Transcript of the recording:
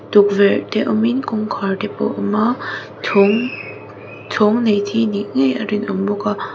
tukverh te awm in kawngkhar te pawh a awm a chhawng chhawng nei chi nih ngei a rinawm bawk a.